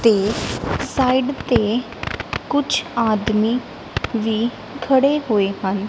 ਤੇ ਸਾਈਡ ਤੇ ਕੁਝ ਆਦਮੀ ਵੀ ਖੜੇ ਹੋਏ ਹਨ।